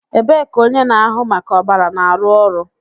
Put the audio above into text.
Ebee ka onye na-ahụ maka ọbara na-arụ ọrụ